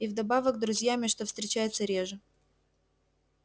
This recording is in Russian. и вдобавок друзьями что встречается реже